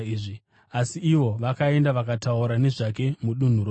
Asi ivo vakaenda vakataura nezvake mudunhu rose iri.